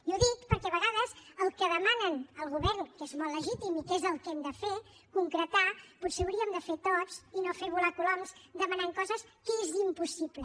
i ho dic perquè a vegades el que demanen al govern que és molt legítim i que és el que hem de fer concretar potser hauríem de fer ho tots i no fer volar coloms demanant coses que són impossibles